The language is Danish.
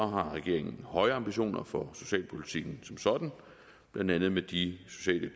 har regeringen høje ambitioner for socialpolitikken som sådan blandt andet med de sociale